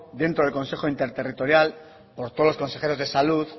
dentro del consejo interterritorial por todos los consejeros de salud